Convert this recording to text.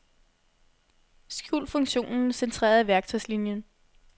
Skjul funktionen centreret i værktøjslinien.